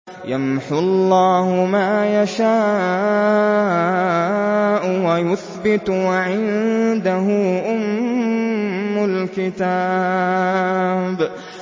يَمْحُو اللَّهُ مَا يَشَاءُ وَيُثْبِتُ ۖ وَعِندَهُ أُمُّ الْكِتَابِ